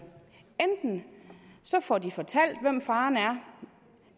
enten får de fortalt hvem faren er